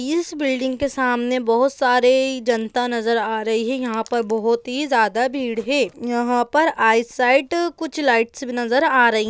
इस बिल्डिंग के सामने बहुत सारी जनता नज़र आ रही है यहाँ पर बहुत ही ज्यादा भीड़ है यहाँ पर कुछ लाईट्स भी नजर आ रही हैं।